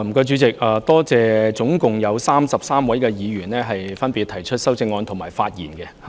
主席，我感謝合共33位議員就我的議案提出修正案和發言。